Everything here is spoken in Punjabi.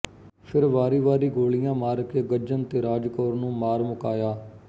ਫਿਰ ਵਾਰੀ ਵਾਰੀ ਗੋਲੀਆਂ ਮਾਰ ਕੇ ਗੱਜਣ ਤੇ ਰਾਜ ਕੌਰ ਨੂੰ ਮਾਰ ਮੁਕਾਇਆ